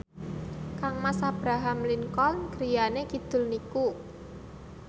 kangmas Abraham Lincoln griyane kidul niku